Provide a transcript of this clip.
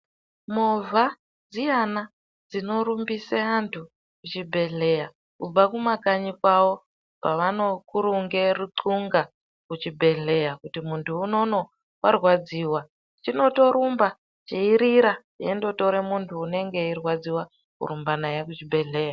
Movha dziyana dzinorumbise antu kuzvibhedhleya kubva kumakanyi kwavo kwavanokurunge rutxunga kuchibhedhleya. Kuti muntu unono varwaradziva chinotorumba cheirira chindotore muntu unonge eirwadziva kurumba naye kuchibhedhleya.